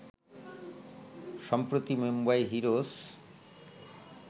সম্প্রতি মুম্বাই হিরোস